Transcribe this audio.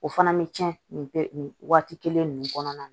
O fana bɛ cɛn nin nin nin waati kelen ninnu kɔnɔna na